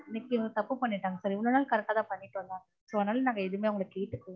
இன்னிக்கி இவங்க தப்பு பண்ணிட்டாங்க sir இவ்ளோ நாள் correct ஆ தான் பண்ணிட்டு வந்தாங்க so அதனால நாங்க எதுமே அவங்கள கேட்டுகல